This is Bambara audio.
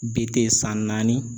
BT san naani.